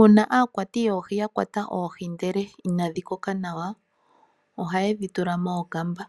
Uuna aakwati yoohi yakwatwa oohi ndele inadhi koka nawa oha yedhi tula mookamba